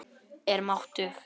Er máttug.